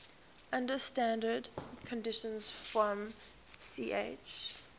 under standard conditions from ch